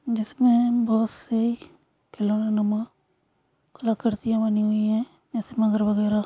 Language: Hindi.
जिसमे हमें बहुत से खिलौने कलाकृतियां बनी हुई है